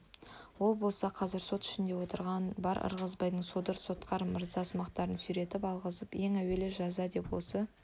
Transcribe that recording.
ол болса қазір сот ішінде отырған бар ырғызбайдың содыр-сотқар мырзасымақтарың сүйретіп алғызып ең әуелгі жаза осы деп